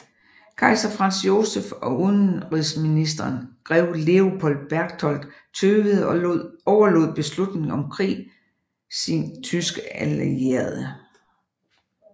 Kejser Franz Joseph og udenrigsministeren grev Leopold Berchtold tøvede og overlod beslutningen om krig sin sin tyske allierede